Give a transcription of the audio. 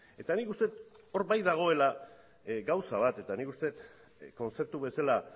eta nik uste dut hor bai dagoela gauza bat eta nik uste dut kontzeptu bezala